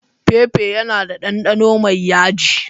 Pepper yana da ɗanɗano mai yaji.